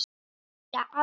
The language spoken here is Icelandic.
Líklega aldrei.